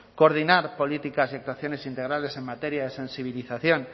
coordinar políticas y actuaciones integrales en materia de sensibilización